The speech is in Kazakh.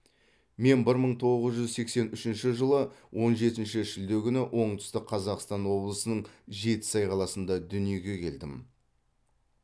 мен бір мың тоғыз жүз сексен үшінші жылы он жетінші шілде күні оңтүстік қазақстан облысының жетісай қаласында дүниеге келдім